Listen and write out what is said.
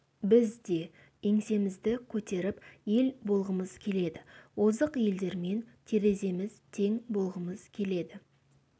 біз де еңсемізді көтеріп ел болғымыз келеді озық елдермен тереземіз тең болғымыз келеді